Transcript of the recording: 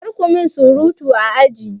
Kar ku min surutu a aji!